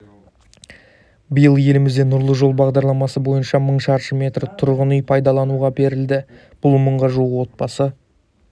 биыл елімізде нұрлы жол бағдарламасы бойынша мың шаршы метр тұрғынүй пайдалануға беріледі бұл мыңға жуық отбасы